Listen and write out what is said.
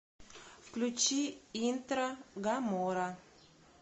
включи интро гамора